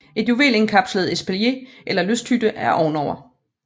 Et juvel indkapslet espalier eller lysthytte er ovenover